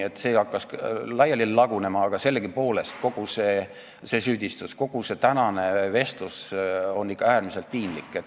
See süüdistus hakkas laiali lagunema, aga sellegipoolest on kogu see tänane vestlus ikka äärmiselt piinlik.